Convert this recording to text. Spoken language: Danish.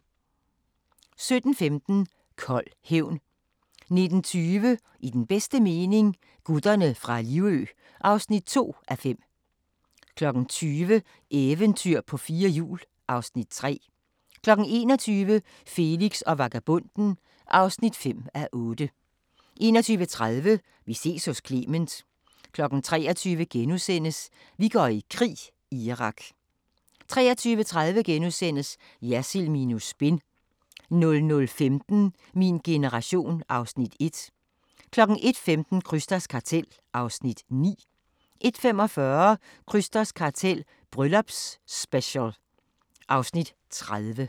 17:15: Kold hævn 19:20: I den bedste mening - gutterne fra Livø (2:5) 20:00: Eventyr på fire hjul (Afs. 3) 21:00: Felix og vagabonden (5:8) 21:30: Vi ses hos Clement 23:00: Vi går i krig: Irak * 23:30: Jersild minus Spin * 00:15: Min generation (Afs. 1) 01:15: Krysters Kartel (Afs. 9) 01:45: Krysters kartel - Bryllupsspecial (Afs. 30)